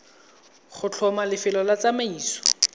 go tlhoma lefelo la tsamaiso